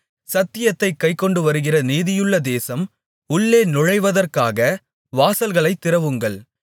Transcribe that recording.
சத்தியத்தைக் கைக்கொண்டுவருகிற நீதியுள்ள தேசம் உள்ளே நுழைவதற்காக வாசல்களைத் திறவுங்கள்